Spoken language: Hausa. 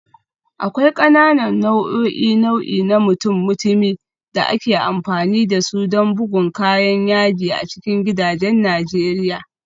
Akwai ƙananan nau'o'in nau'i na mutum-mutumi da ake amfani da su don bugun kayan yaji a cikin gidajen Najeriya